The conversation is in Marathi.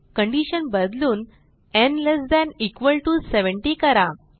कंडिशन बदलून न् लेस थान इक्वॉल टीओ 70 करा